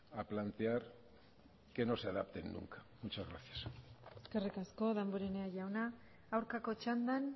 a plantear que no se adapten nunca muchas gracias eskerrik asko damborenea jauna aurkako txandan